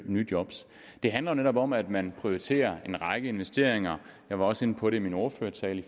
nye job det handler netop om at man prioriterer en række investeringer jeg var også inde på det i min ordførertale